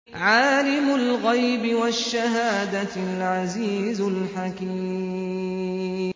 عَالِمُ الْغَيْبِ وَالشَّهَادَةِ الْعَزِيزُ الْحَكِيمُ